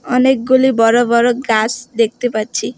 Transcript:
অনেকগুলি বড় বড় গাছ দেখতে পাচ্ছি।